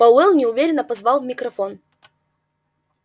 пауэлл неуверенно позвал в микрофон